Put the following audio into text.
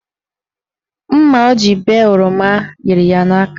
Mma ọ jiri bee oroma yiri ya n'aka.